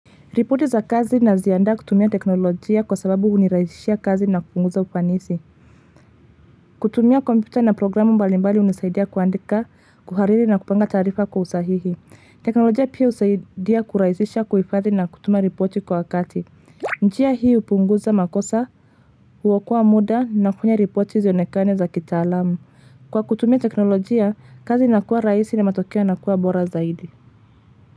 Ripoti za kazi naziandaa kutumia teknolojia kwa sababu hunirahisishia kazi na kupunguza ufanisi. Kutumia kompyuta na programu mbalimbali hunisaidia kuandika, kuhariri na kupanga taarifa kwa usahihi. Teknolojia pia husaidia kurahisisha kuhifadhi na kutuma ripoti kwa wakati. Njia hii hupunguza makosa, huokoa muda na kufanya ripoti zionekane za kitaalamu. Kwa kutumia teknolojia, kazi inakuwa rahisi na matokeo inakuwa bora zaidi.